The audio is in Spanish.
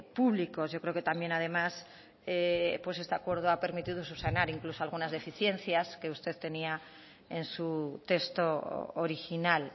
públicos yo creo que también además este acuerdo ha permitido subsanar incluso algunas deficiencias que usted tenía en su texto original